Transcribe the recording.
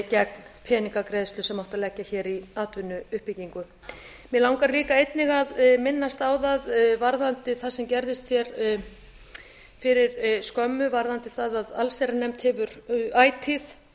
gegn peningagreiðslu sem átti að leggja hér í atvinnuuppbyggingu mig langar líka einnig að minnast á það varðandi það sem gerðist hér fyrir skömmu varðandi það að allsherjarnefnd hefur ætíð